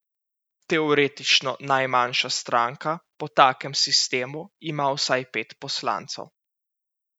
Teoretično najmanjša stranka po takem sistemu ima vsaj pet poslancev.